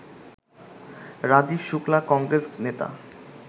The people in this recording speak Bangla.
রাজীব শুল্কা, কংগ্রেস নেতা